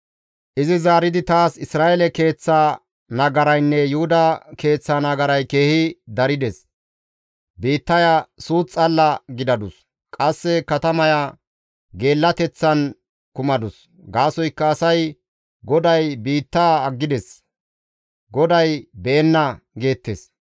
Izi zaaridi taas, «Isra7eele keeththa nagaraynne Yuhuda keeththa nagaray keehi darides; biittaya suuth xalla gidadus; qasse katamaya geellateththan kumadus; gaasoykka asay, ‹GODAY biittaa aggides; GODAY be7enna› geettes.